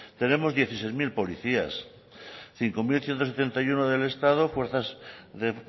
tenemos dieciséis mil policías cinco mil ciento setenta y uno del estado fuerzas de